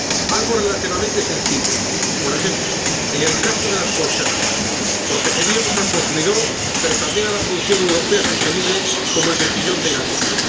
algo relativamente sencillo. Por ejemplo, en el caso de las conservas, protegeríamos al consumidor, pero también a la producción europea sostenible como el mejillón de Galicia.